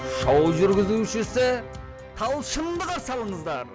шоу жүргізушісі талшынды қарсы алыңыздар